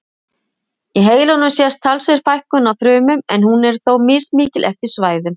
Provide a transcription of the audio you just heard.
Í heilanum sést talsverð fækkun á frumum en hún er þó mismikil eftir svæðum.